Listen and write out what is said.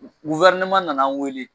nana an wele